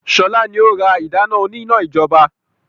Sọlá ni ó ra ìdáná òní-iná ijọba